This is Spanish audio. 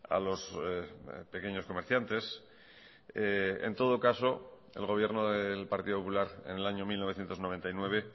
a los pequeños comerciantes en todo caso el gobierno del partido popular en el año mil novecientos noventa y nueve